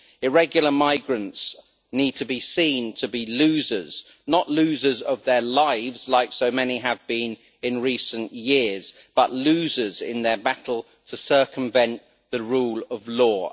Irregular migrants need to be seen to be losers not losers of their lives, like so many have been in recent years but losers in their battle to circumvent the rule of law.